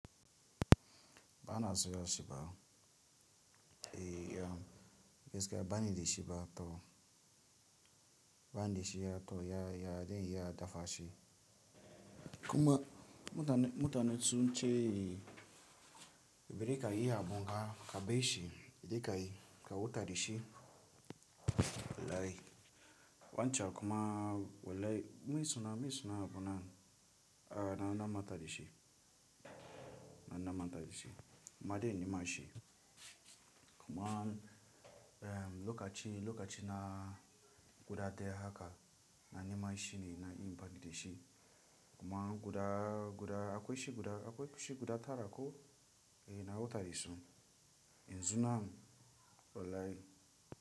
Bana soya shi ba, eh ya, gaskiya bani da shi ba to bani da shi ba to ya, ya zan iya dafa shi. Kuma mutane, mutanen sun ce, bareka yi abu ba kabe shi, kaje ka yi ka wuta da shi. Olai, wancan kuma olai, min suna, min suna abuna a na namanta da shi, na namanta da shi. Ma dai nima shi. Kuma eh lokaci, lokaci na guda daya haka na nima shi ne na impact da shi. Kuma guda, guda akwai shi guda, akwai shi guda tara ko eh na wuta yi son. In zunan olai.